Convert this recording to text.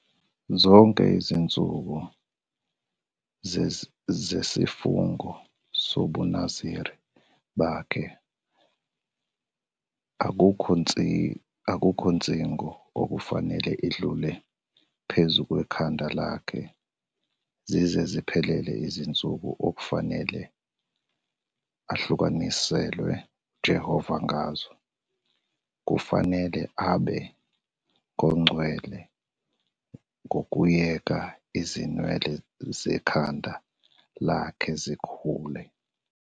"'Zonke izinsuku zesifungo sobuNaziri bakhe akukho nsingo okufanele idlule phezu kwekhanda lakhe, zize ziphelele izinsuku okufanele ahlukaniselwe uJehova ngazo, kufanele abe ngongcwele ngokuyeka izinwele zekhanda lakhe zikhule.